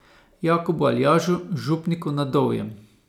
Jakobu Aljažu, župniku na Dovjem.